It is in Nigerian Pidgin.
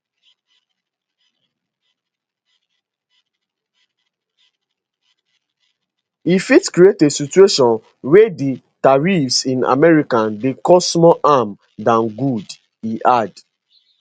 e fit create a situation wia di tariffs in america dey cause more harm dan good e add